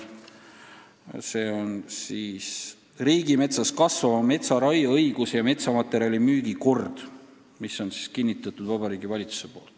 See on riigimetsas kasvava metsa raieõiguse ja metsamaterjali müügi kord, mille on kinnitanud Vabariigi Valitsus.